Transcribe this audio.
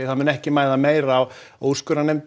mun ekki mæða meira á úrskurðarnefnd